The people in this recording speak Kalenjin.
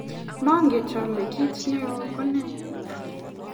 manget ale kiit neoo ko ne?